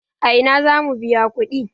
A ina za mu biya kuɗi?